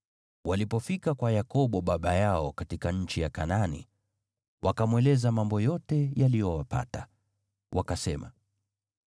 Walipofika kwa Yakobo baba yao katika nchi ya Kanaani, wakamweleza mambo yote yaliyowapata. Wakasema,